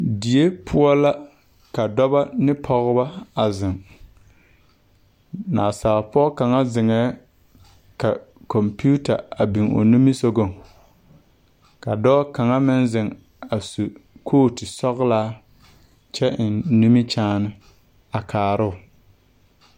Die poɔ la ka dɔbɔ ne pɔgebɔ a zeŋ naasaal pɔɔ kaŋa zeŋɛɛ ka kɔmpiuta a biŋ o nimisugɔŋ ka dɔɔ kaŋa meŋ zeŋ a su kootu sɔglaa kyɛ eŋ nimikyaane a kaaroo.